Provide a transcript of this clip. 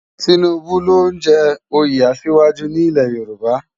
Tinubu ló n jè óyé àṣiwájú ni ilè Yoruba